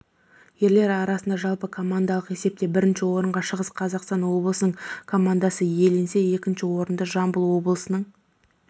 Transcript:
ерлер арасында жалпыкомандалық есепте бірінші орынға шығыс қазақстан облысының командасы иеленсе екінші орынды жамбыл облысының